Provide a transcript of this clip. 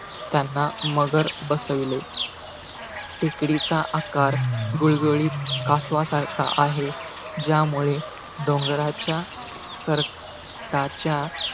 त्यांना मगर बसविले. टेकडीचा आकार गुळगुळीत, कासवासारखा आहे. ज्यामुळे, डोंगराच्या सरकताच्या,